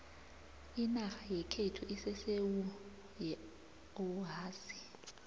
inarha yekhethu isesewu yeohasi